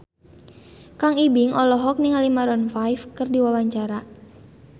Kang Ibing olohok ningali Maroon 5 keur diwawancara